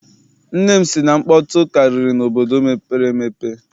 Nne m sị na nkpọtụ karịrị n'obodo mepere emepe.